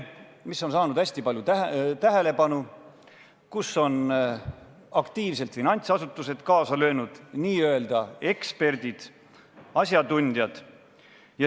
See on saanud hästi palju tähelepanu ja selles on aktiivselt kaasa löönud finantsasutused, n-ö eksperdid, asjatundjad.